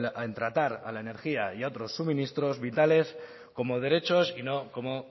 en tratar a la energía y a otros suministros vitales como derechos y no como